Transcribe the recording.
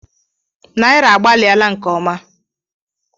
Naira agbaliela nke ọma.